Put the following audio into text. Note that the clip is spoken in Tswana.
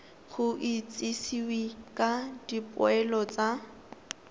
go itsisiwe ka dipoelo tsa